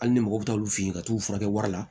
Hali ni mɔgɔ bɛ taa olu fɛ yen ka t'u furakɛ wari la